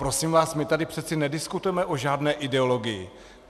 Prosím vás, my tady přece nediskutujeme o žádné ideologii.